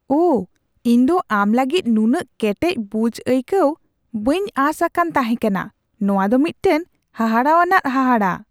ᱟᱦ! ᱤᱧ ᱫᱚ ᱟᱢ ᱞᱟᱹᱜᱤᱫ ᱱᱩᱱᱟᱹᱜ ᱠᱮᱴᱮᱡ ᱵᱩᱡᱷ ᱟᱹᱭᱠᱟᱹᱣ ᱵᱟᱹᱧ ᱟᱥ ᱟᱠᱟᱱ ᱛᱟᱦᱮᱠᱟᱱᱟ ᱾ ᱱᱚᱣᱟ ᱫᱚ ᱢᱤᱫᱴᱟᱝ ᱦᱟᱦᱟᱲᱟᱣᱟᱱᱟᱜ ᱦᱟᱦᱟᱲᱟ ᱾